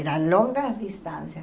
Era longa a distância.